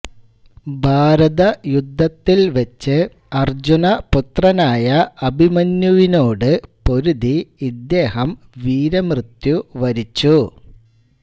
ഭാരതയുദ്ധത്തിൽ വച്ച് അര്ജുനപുത്രനായ അഭിമന്യുവിനോട് പൊരുതി ഇദ്ദേഹം വീരമൃത്യു വരിച്ചു